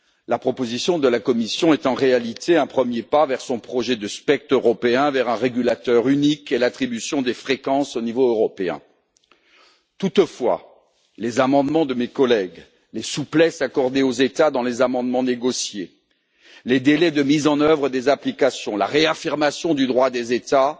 La proposition de la Commission est en réalité un premier pas vers son projet de spectre européen, vers un régulateur unique et vers l'attribution des fréquences au niveau européen. Toutefois, les amendements déposés par mes collègues, la flexibilité accordée aux États dans les amendements négociés, les délais de mise en œuvre des applications, la réaffirmation du droit des États,